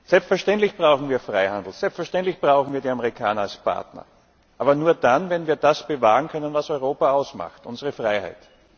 Selbstverständlich brauchen wir Freihandel, selbstverständlich brauchen wir die Amerikaner als Partner aber nur dann, wenn wir das bewahren können, was Europa ausmacht unsere Freiheit!